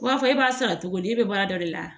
B'a fɔ e b'a sara cogo di e bɛ baara dɔ de la